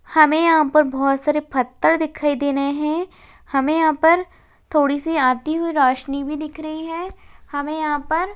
हमें यहाँ पर बहोत सारे फत्थर दिखाई दे रहे है हमे यहाँ पर थोड़ी सी आती हुई रोशनी भी दिख रही है हमें यहाँ पर --